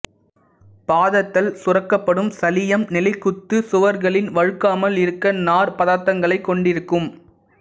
பாதத்தல் சுரக்கப்படும் சளியம் நிலைக்குத்து சுவர்களின் வழுக்காமல் இருக்க நார் பதார்த்தங்களைக் கொண்டிருக்கும்